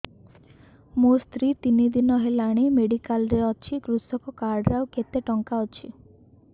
ମୋ ସ୍ତ୍ରୀ ତିନି ଦିନ ହେଲାଣି ମେଡିକାଲ ରେ ଅଛି କୃଷକ କାର୍ଡ ରେ ଆଉ କେତେ ଟଙ୍କା ଅଛି